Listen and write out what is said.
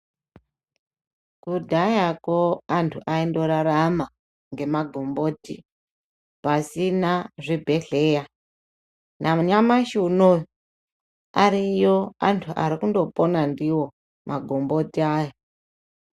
Kudhayako antu aindorarama ngemagomboti pasina zvibhedhleya. Nanyamashi unowu ariyo antu ari kundopona ndiwo, magomboti aya.